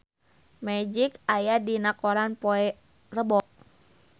Magic aya dina koran poe Rebo